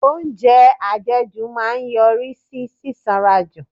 Oúnjẹ àjẹjù máa ń yọrí sí sísanra jù.